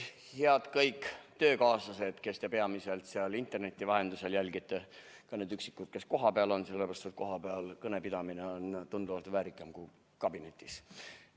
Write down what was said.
Head kõik töökaaslased, kes te peamiselt interneti vahendusel jälgite, ja ka need üksikud, kes kohapeal on, sellepärast et kohapeal kõne pidamine on tunduvalt väärikam kui kabinetis!